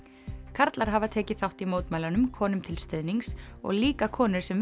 karlar hafa tekið þátt í mótmælunum konum til stuðnings og líka konur sem